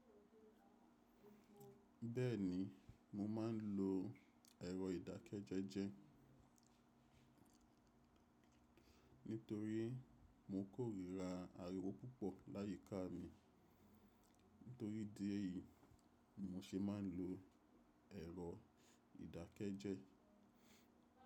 Bẹ́ẹ̀ni, mo máa ń lo ẹ̀rọ ìdákẹ́jẹ́jẹ́ nítorí mo kórira ariwo púpọ̀ láyíká mi. Nítorí ìdí èyí ni mo ṣe ma ń lo ẹ̀rọ ìdákẹ́jẹ́.